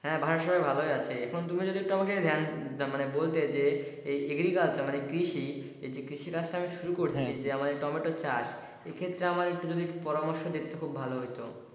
হ্যাঁ বাসার সবাই ভালোই আছে তুমি যদি আমাকে ধ্যান, মানে বলতে যে agriculture মানে কৃষি, এই যে কৃষি কাজটা আমি শুরু করেছি এই যে টমেটো চাষ এক্ষেত্রে আমায় যদি একটু পরামর্শ দিত তাহলে আমার খুব ভালো হইতো।